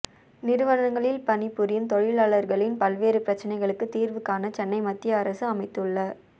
நிறுவனங்களில் பணிபுரியும் தொழிலாளா்களின் பல்வேறு பிரச்னைகளுக்கு தீா்வு காண சென்னை மத்திய அரசு அமைத்துள்ள